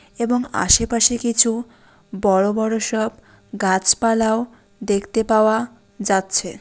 এবং আশেপাশে কিছু বড়ো বড়ো সব গাছপালাও দেখতে পাওয়া যাচ্ছে।